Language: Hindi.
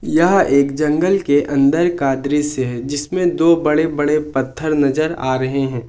यह एक जंगल के अंदर का दृश्य है जिसमें दो बड़े-बड़े पत्थर नजर आ रहे हैं।